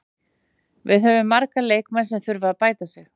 Við höfum marga leikmenn sem þurfa að bæta sig.